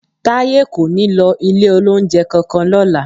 Táyé kò ní lọ ilé-olóunjẹ kankan lọ́la